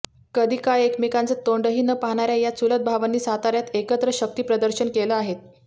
कधीकाळी एकमेकांचं तोंडही न पाहणाऱ्या या चुलत भावांनी साताऱ्यात एकत्र शक्तिप्रदर्शन केलं आहेत